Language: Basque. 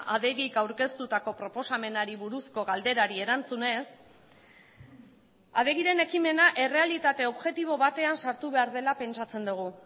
adegik aurkeztutako proposamenari buruzko galderari erantzunez adegiren ekimena errealitate objektibo batean sartu behar dela pentsatzen dugu